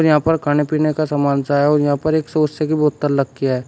यहां पर खाने पीने का सामान सा है और यहां पर एक सोसे की बोतल रखी है।